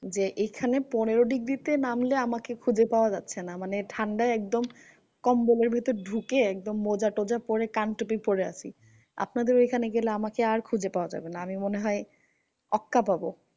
যে এইখানে পনেরো degree তে নামলে আমাকে খুঁজে যাচ্ছে না। মানে ঠান্ডায় একদম কম্বলের ভেতর ঢুকে মোজা টোজা পরে কান টুপি পরে আছি। আপনাদের ঐখানে গেলে আমাকে আর খুঁজে পাওয়া যাবেনা। আমি মনে হয় অক্কা পাবো।